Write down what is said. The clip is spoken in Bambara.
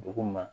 Dugu ma